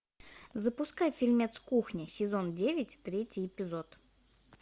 запускай фильмец кухня сезон девять третий эпизод